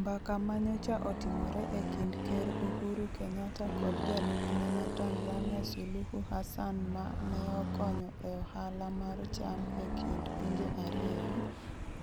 Mbaka ma nyocha otimore e kind Ker Uhuru Kenyatta kod jalupne ma Tanzania Suluhu Hassan ma ne okonyo e ohala mar cham e kind pinje ariyo,